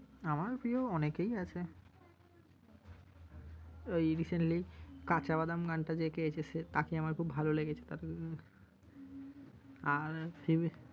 আমার প্রিয় অনেকেই আছে। ওই recently কাঁচা বাদাম গানটা যে গেয়েছে সে তাঁকে আমার খুব ভালো লেগেছে তাঁকে । আর